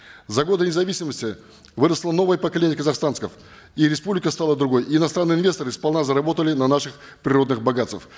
за годы независимости выросло новое поколение казахстанцев и республика стала другой и иностранные инвесторы сполна заработали на наших природных богатствах